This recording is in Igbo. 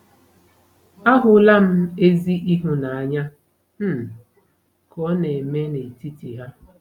Ahụla m ezi ịhụnanya um ka ọ na-eme n'etiti ha.